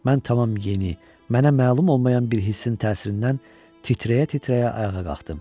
Mən tamam yeni, mənə məlum olmayan bir hissin təsirindən titrəyə-titrəyə ayağa qalxdım.